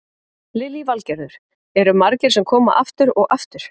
Lillý Valgerður: Eru margir sem koma aftur og aftur?